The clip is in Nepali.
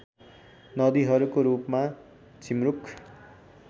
नदीहरूको रूपमा झिमरुक